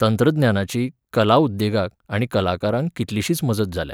तंत्रज्ञानाची, कला उद्देगाक आनी कलाकारांक कितलिशीच मजत जाल्या.